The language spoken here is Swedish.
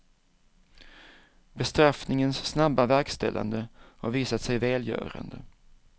Bestraffningens snabba verkställande har visat sig välgörande.